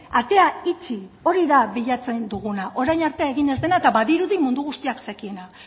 atea itxi hori da bilatzen duguna orain arte egin ez dena eta badirudi mundu guztiak zekiena